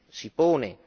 si pone.